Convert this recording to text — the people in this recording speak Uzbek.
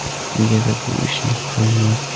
Negadir bu ish qilinmadi?